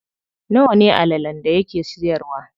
Nawa ne allalen da yake siyarwa?